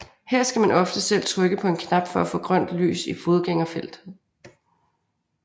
Her skal man ofte selv trykke på en knap for at få grønt lys i fodgængerfeltet